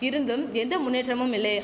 இருந்தும் எந்த முன்னேற்றமும் இல்லே